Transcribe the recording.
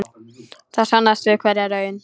Það sannast við hverja raun.